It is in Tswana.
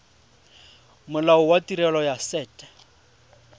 molao wa tirelo ya set